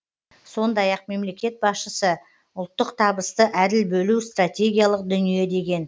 сондай ақ мемлекет басшысы ұлттық табысты әділ бөлу стратегиялық дүние деген